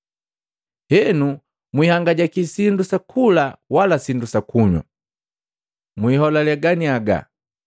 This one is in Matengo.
“Henu mwiihangajaki sindu sakula wala sindu sakunywa. Mwiiholale ganiaga.